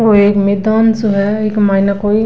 औ एक मैदान सो है इक्के माइन कोई --